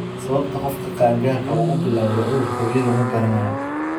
Sababta qofka qaangaarka ah u bilaawday cudurka Weli lama garanayo.